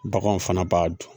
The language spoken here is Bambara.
Bagan fana b'a dun.